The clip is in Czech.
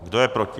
Kdo je proti?